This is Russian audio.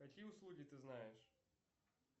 какие услуги ты знаешь